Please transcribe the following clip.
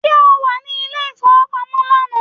Ṣé o wà ní ilé ìfowópamọ́ lánàá?